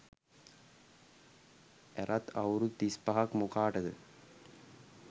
ඇරත් අවුරුදු තිස් පහක් මොකාටද